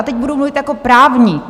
A teď budu mluvit jako právník.